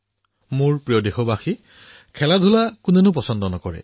মোৰ মৰমৰ দেশবাসীসকল খেল কোনে ভাল নাপায়